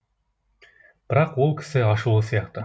бірақ ол кісі ашулы сияқты